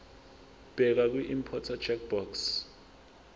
bheka kwiimporter checkbox